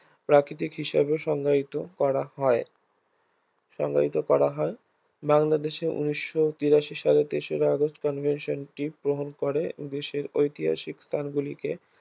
প্রাকৃতিক হিসেবে সংজ্ঞায়িত করা হয় সংজ্ঞায়িত করা হয় বাংলাদেশে ঊনিশ তিরাশি সালের তেসরা আগস্ট convention টি গ্রহণ করে বিশ্বের ঐতিহাসিক স্থানগুলিকে